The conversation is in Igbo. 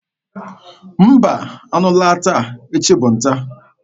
Mba, anụ laa taa, echi ga-abụ nta.